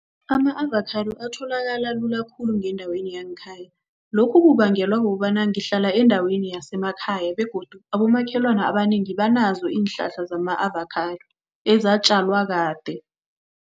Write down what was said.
ama-avakhado atholakala lula khulu ngendaweni yangekhaya. lokhu kubangelwa kukobana ngihlala endaweni yasemakhaya begodu abomakhelwana abanengi banazo iinhlahla zama-avakhado, ezatjalwa kade.